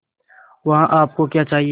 वहाँ आप को क्या चाहिए